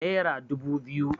Nera dubu biyu